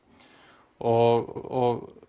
og